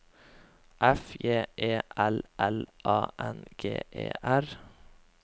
F J E L L A N G E R